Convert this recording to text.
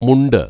മുണ്ട്